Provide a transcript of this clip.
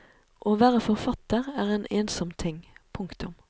Å være forfatter er en ensom ting. punktum